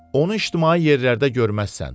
Onu ictimai yerlərdə görməzsən.